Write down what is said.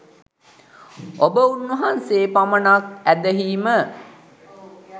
ඔබ උන්වහන්සේ පමණක් ඇදහීම